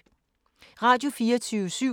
Radio24syv